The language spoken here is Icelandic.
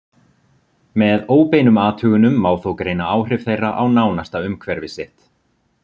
Með óbeinum athugunum má þó greina áhrif þeirra á nánasta umhverfi sitt.